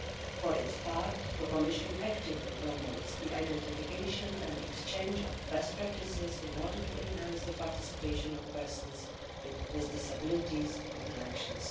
For its part, the Commission actively promotes the identification and exchange of best practices in order to enhance the participation of persons with disabilities in elections.